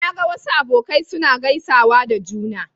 Na ga wasu abokai suna gaisawa da juna.